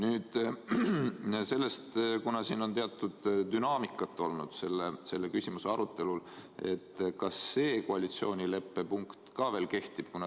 Kuna selle küsimuse arutelul on teatud dünaamikat olnud, siis küsin, kas see koalitsioonileppe punkt ka veel kehtib.